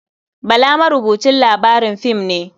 Bala marubucin labarin fim ne.